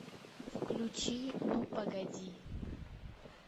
включи ну погоди